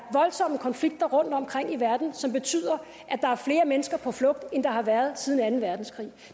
voldsomme konflikter rundtomkring i verden som betyder at der er flere mennesker på flugt end der har været siden anden verdenskrig